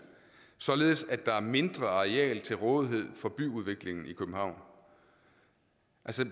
således at der er mindre areal til rådighed for byudviklingen i københavn